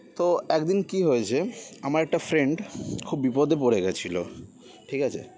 তো একদিন কি হয়েছে আমার একটা friend খুব বিপদে পড়ে গেছিল ঠিকাছে